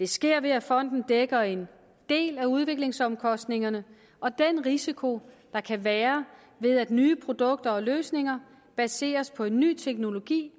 det sker ved at fonden dækker en del af udviklingsomkostningerne og den risiko der kan være ved at nye produkter og løsninger baseres på en ny teknologi